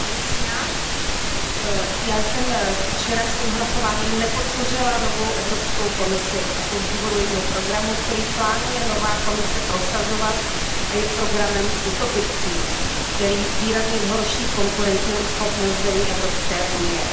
Paní předsedající, já jsem včera svým hlasováním nepodpořila novou Evropskou komisi, a to z důvodu jejího programu, který plánuje nová Komise prosazovat a který je programem utopickým, který výrazně zhorší konkurenceschopnost zemí Evropské unie.